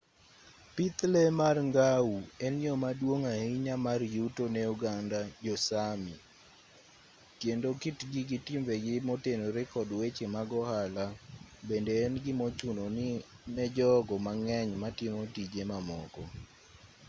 pith lee mar ngau en yo maduong' ahinya mar yuto ne oganda jo-sámi kendo kitgi gi timbegi motenore kod weche mag ohala bende en gimochuno ne jogo mang'eny matimo tije mamoko